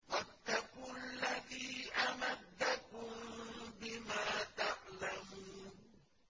وَاتَّقُوا الَّذِي أَمَدَّكُم بِمَا تَعْلَمُونَ